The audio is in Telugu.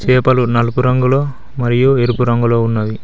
చేపలు నలుపు రంగులో మరియు ఎరుపు రంగులో ఉన్నవి.